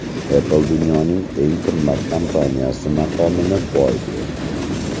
Apple dunyoning eng qimmat kompaniyasi maqomini boy berdi.